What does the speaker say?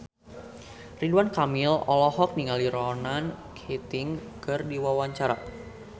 Ridwan Kamil olohok ningali Ronan Keating keur diwawancara